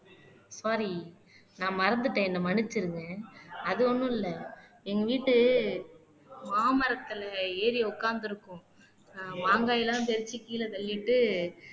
sorry நான் மறந்துட்டேன் என்னை மன்னிச்சிடுங்க அது ஒண்ணும் இல்லை எங்க வீட்டு மாமரத்துல ஏறி உட்கார்ந்திருக்கும் அஹ் மாங்காய் எல்லாம் தெளிச்சு கீழே தள்ளிட்டு